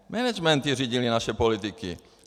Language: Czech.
Managementy řídily naše politiky.